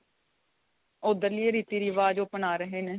ਉੱਧਰਲੇ ਰੀਤੀ ਰਿਵਾਜ਼ ਅਪਣਾ ਰਹੇ ਨੇ